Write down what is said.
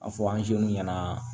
A fɔ ɲɛna